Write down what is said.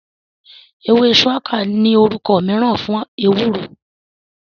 Ewé ṣuwaka ní orúkọ mìíràn fún ewúro